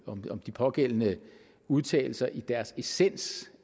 om de pågældende udtalelser i deres essens